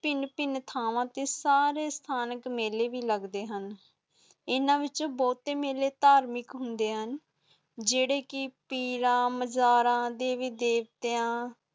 ਪਹਿਨ ਪਹਿਨ ਥਾਵਾਂ ਤੇ ਤੇ ਡਾਰੇ ਸਥਾਨ ਚ ਮੇਲੇ ਭੀ ਲੱਗਣੇ ਹੁਣ, ਇੰਨਾ ਵਿਚ ਬਹੁਤੇ ਮੇਲੇ ਤਾਰਮਿਕ ਹੁਣੇ ਹੁਣ ਜਜੇਦੇ ਕਿ ਪੀਰ ਮਾਜਰਾ, ਦੇਵੀ ਦੇਵਤਿਆਂ